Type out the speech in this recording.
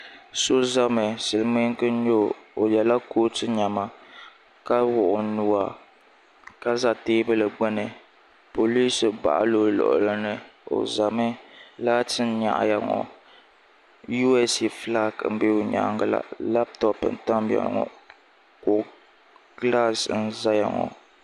So zami silmiinga n nyɛ o o yɛla kootu niɛma ka wuɣi o nuwa ka za teebuli gbuni poliis baɣa la o luɣuli ni o zami laati n nyaɣi ya ŋɔ USA filaaki n bɛ o nyaanga la laptɔp n tam ya ŋɔ kɔ gilaas n zaya ŋɔ.